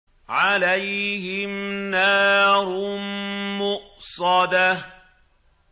عَلَيْهِمْ نَارٌ مُّؤْصَدَةٌ